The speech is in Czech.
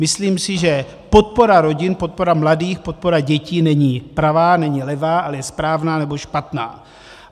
Myslím si, že podpora rodin, podpora mladých, podpora dětí není pravá, není levá, ale je správná nebo špatná.